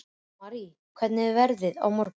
Marý, hvernig er veðrið á morgun?